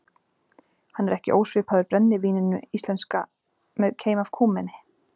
Hann er ekki ósvipaður brennivíninu íslenska með keim af kúmeni.